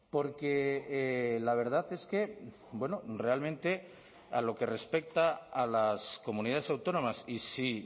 porque la verdad es que realmente a lo que respecta a las comunidades autónomas y si